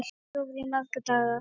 Lítið sofið í marga daga.